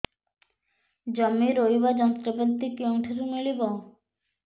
ଜମି ରୋଇବା ଯନ୍ତ୍ରପାତି କେଉଁଠାରୁ ମିଳିବ